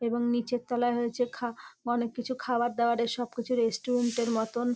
এবং নীচের তলায় হয়েছে খাঁ অনেককিছু খাবার দাওয়ারের সব কিছু রেস্টুরেন্ট এর মতন।